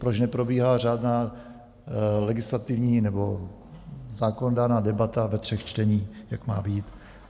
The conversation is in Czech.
Proč neprobíhá řádná legislativní nebo zákonodárná debata ve třech čteních, jak má být?